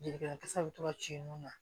Jelikɛnɛna tasaw bɛ to ka ci nun na